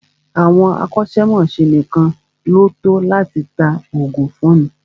Àwọn akọ́ṣẹ́mọ́ṣẹ́ nìkan ní o tọ́ láti tá oògùn fúnni.